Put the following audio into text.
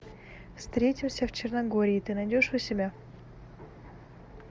встретимся в черногории ты найдешь у себя